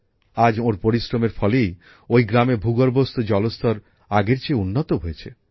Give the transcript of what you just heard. আজ ওঁর পরিশ্রমের ফলেই ওই গ্রামে ভূগর্ভস্থ জলস্তর আগের চেয়ে উন্নত হয়েছে